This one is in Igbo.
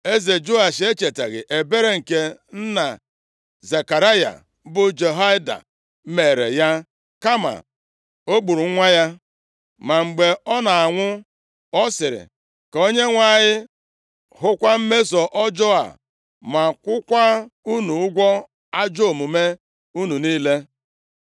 Eze Joash echetaghị ebere nke nna Zekaraya bụ Jehoiada meere ya kama o gburu nwa ya. Ma mgbe ọ na-anwụ, ọ sịrị, “Ka Onyenwe anyị hụkwa mmeso ọjọọ a ma kwụọkwa unu ụgwọ ajọ omume unu niile.”